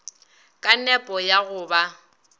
ka nepo ya go ba